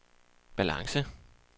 balance